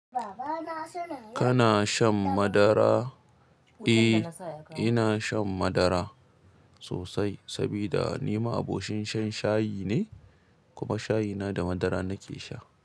Kana shan madara? Eh, ina shan madara sosai saboda ni ma'abocin shan shayi ne, kuma shayina da madara nake sha.